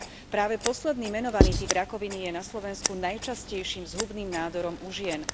Práve posledný menovaný typ rakoviny je na Slovensku najčastejším zhubným nádorom u žien.